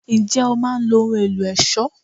Ǹjẹ́ o máa ń lo ohùn ẹ̀lò aṣọ?